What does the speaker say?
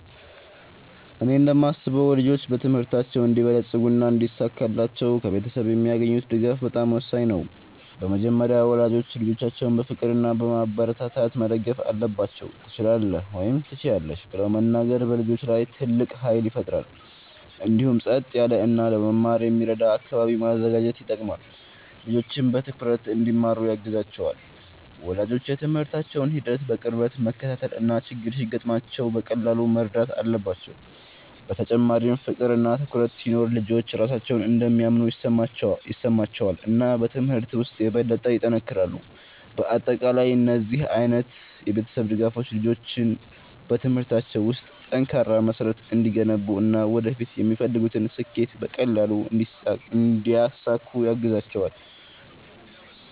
እኔ እንደማስበው ልጆች በትምህርታቸው እንዲበለጽጉና እንዲሳካላቸው ከቤተሰብ የሚያገኙት ድጋፍ በጣም ወሳኝ ነው። በመጀመሪያ ወላጆች ልጆቻቸውን በፍቅር እና በማበረታታት መደገፍ አለባቸው፤ “ትችላለህ” ወይም “ትችያለሽ ” ብለው መናገር በልጆች ላይ ትልቅ ኃይል ይፈጥራል። እንዲሁም ጸጥ ያለ እና ለመማር የሚረዳ አካባቢ ማዘጋጀት ይጠቅማል፣ ልጆችም በትኩረት እንዲማሩ ያግዛቸዋል። ወላጆች የትምህርታቸውን ሂደት በቅርበት መከታተል እና ችግር ሲገጥማቸው በቀላሉ መርዳት አለባቸው። በተጨማሪም ፍቅር እና ትኩረት ሲኖር ልጆች ራሳቸውን እንደሚያምኑ ይሰማቸዋል እና በትምህርት ውስጥ የበለጠ ይጠነክራሉ። በአጠቃላይ እነዚህ ዓይነት የቤተሰብ ድጋፎች ልጆች በትምህርታቸው ውስጥ ጠንካራ መሠረት እንዲገነቡ እና ወደፊት የሚፈልጉትን ስኬት በቀላሉ እንዲያሳኩ ያግዛቸዋል።